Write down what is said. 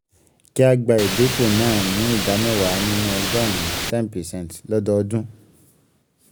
kí a gbà ìdínkù náà ni ìdá mẹ́wàá nínú ọgọ́rùn-ún ten percent lọ́dọọdún.